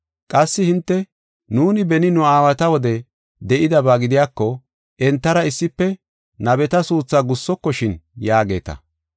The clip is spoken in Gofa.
Qassi hinte, ‘Nuuni beni nu aawata wode de7idaba gidiyako, entara issife nabeta suuthaa gussokoshin’ yaageeta.